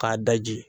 K'a daji